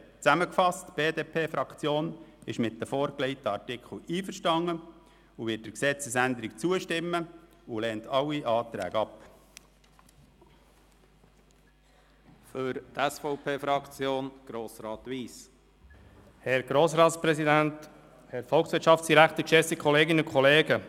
Zusammengefasst: Die BDP-Fraktion ist mit den vorgelegten Artikeln einverstanden, wird der Gesetzesänderung zustimmen und lehnt alle Anträge ab.